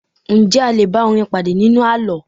Njẹ́ a lé bá orin padà nínú àlọ́?